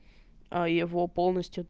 а его полностью